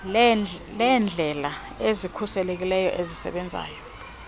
leendlela ezikhuselekileyo ezisebenzayo